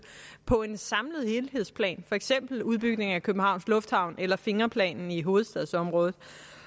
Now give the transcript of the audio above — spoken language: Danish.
på en samlet helhedsplan for eksempel udbygningen af københavns lufthavn eller fingerplanen i hovedstadsområdet